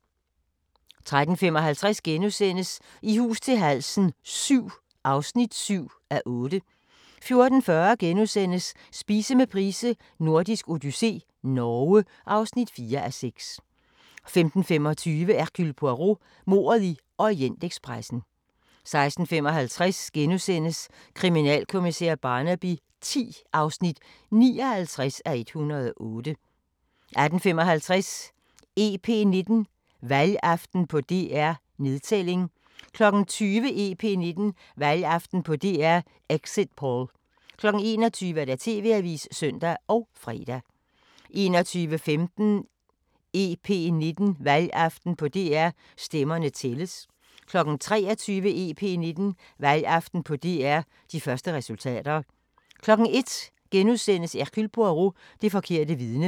13:55: I hus til halsen VII (7:8)* 14:40: Spise med Price: Nordisk odyssé - Norge (4:6)* 15:25: Hercule Poirot: Mordet i Orientekspressen 16:55: Kriminalkommissær Barnaby X (59:108)* 18:55: EP19: Valgaften på DR – Nedtælling 20:00: EP19: Valgaften på DR – Exit Poll 21:00: TV-avisen (søn og fre) 21:15: EP19: Valgaften på DR – Stemmerne tælles 23:00: EP19: Valgaften på DR – De første resultater 01:00: Hercule Poirot: Det forkerte vidne *